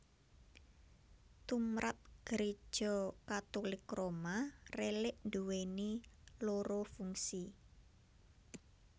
Tumrap Gréja Katulik Roma rélik nduwèni loro fungsi